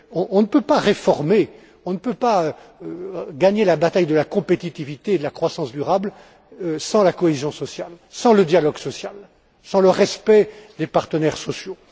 On ne peut pas réformer, on ne peut pas gagner la bataille de la compétitivité et de la croissance durable sans la cohésion sociale, sans le dialogue social, sans le respect des partenaires sociaux.